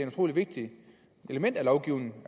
utrolig vigtigt element i lovgivningen